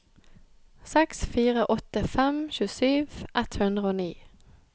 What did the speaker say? seks fire åtte fem tjuesju ett hundre og ni